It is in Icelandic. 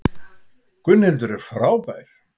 Gunnhildur er frábær.